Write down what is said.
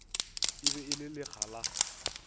be e le lekga la